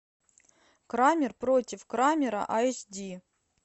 крамер против крамера эйч ди